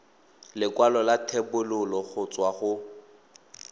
lekwalo la thebolo go tswa